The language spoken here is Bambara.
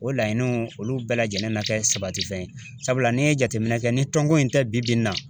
O laɲiniw olu bɛɛ lajɛlen na kɛ sabati fɛn ye, sabula ni ye jateminɛ kɛ ni tɔn ko in tɛ bi bi in na.